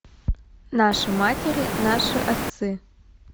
наши матери наши отцы